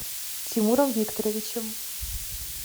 тимуром викторовичем